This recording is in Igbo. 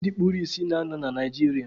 E nwere ebe ndị kpuru isi na-anọ na Naịjirịa